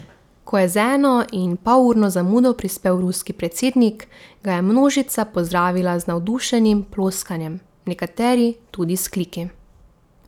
Ko je z enoinpolurno zamudo prispel ruski predsednik, ga je množica pozdravila z navdušenim ploskanjem, nekateri tudi z vzkliki.